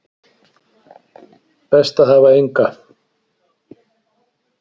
Best að hafa enga